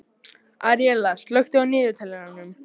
Aríela, slökktu á niðurteljaranum.